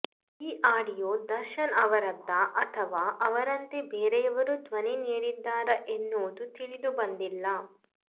ಈ ಆಡಿಯೋ ದರ್ಶನ್ ಅವರದ್ದ ಅಥವಾ ಅವರಂತೆ ಬೇರೆಯವರು ಧ್ವನಿ ನೀಡಿದ್ದಾರಾ ಎನ್ನುವುದು ತಿಳಿದು ಬಂದಿಲ್ಲ